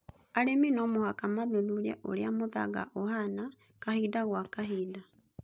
Arĩmi no mũhaka mathuthurie ũrĩa mũthanga ũhana kahinda gwa kahinda